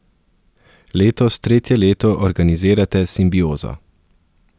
Letos tretje leto organizirate Simbiozo.